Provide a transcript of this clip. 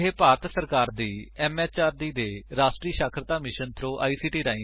ਇਹ ਭਾਰਤ ਸਰਕਾਰ ਦੀ ਐਮਐਚਆਰਡੀ ਦੇ ਰਾਸ਼ਟਰੀ ਸਾਖਰਤਾ ਮਿਸ਼ਨ ਥ੍ਰੋ ਆਈਸੀਟੀ ਰਾਹੀਂ ਸੁਪੋਰਟ ਕੀਤਾ ਗਿਆ ਹੈ